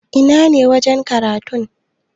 Ina ne wajen karatu?